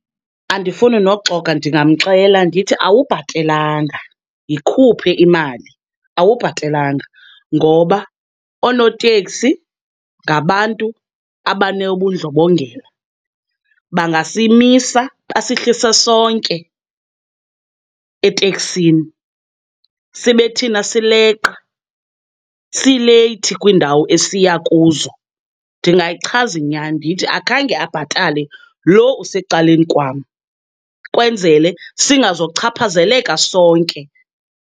Andifuni nokuxoka ndingamxela ndithi awubhatelanga, yikhuphe imali, awubhatelanga. Ngoba oonoteksi ngabantu abanobundlobongela, bangasimisa basihlise sonke eteksini sibe thina sileqa, sileyithi kwiindawo esiya kuzo. Ndingayichaza inyani ndithi akhange abhatale loo usecaleni kwam kwenzele singazochaphazeleka sonke.